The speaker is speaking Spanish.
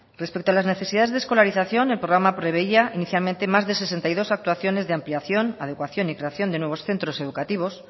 respecto a las necesidades de escolarización el programa preveía inicialmente más de sesenta y dos actuaciones de ampliación adecuación y creación de nuevos centros educativos